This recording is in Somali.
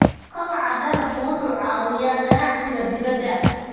Kobaca dalaggu waxa uu caawiyaa ganacsiga dibadda.